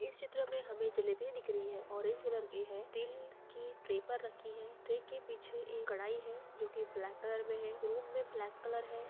इस चित्र में हमें जलेबियाँ दिख रही हैं ऑरेंज कलर की है टील की ट्रे पर रखी है ट्रे के पिछे एक कड़ाई है जो की ब्लैक कलर में है रूम में ब्लैक कलर है।